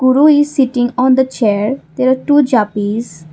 guru is sitting on the chair there are two Japanese.